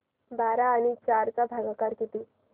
बारा आणि चार चा भागाकर किती